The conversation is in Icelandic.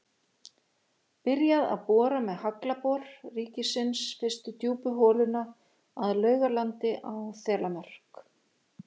Byrjað að bora með Haglabor ríkisins fyrstu djúpu holuna að Laugalandi á Þelamörk.